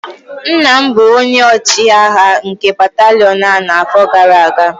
nna m bụ onye ọchịagha nke batalion a n'afọ gara aga